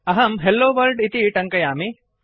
अहं hello world इति टङ्कयामि